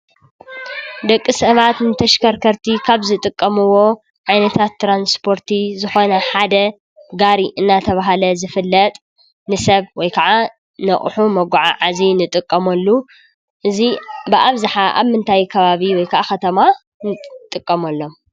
ደቂ ሰባት ንተሽከርከርቲ ካብ ዝጥቀምዎ ዓይነታት ትራንስፖርቲ ዝኾነ ሓደ ጋሪ እናተብሃለ ዝፍለጥ ንሰብ ወይ ክዓ ንኣቑሑ መጓዓዓዚ ንጥቀመሉ። እዚ ብኣብዝሓ ኣብ ምንታይ ከባቢ ወይ ክዓ ከተማ ንጥቀመሎም?